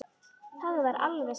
Það var alveg satt.